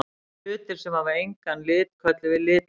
Hlutir sem hafa engan lit köllum við litlausa.